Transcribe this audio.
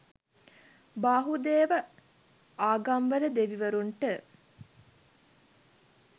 බහුදේව ආගම්වල දෙවිවරුන්ට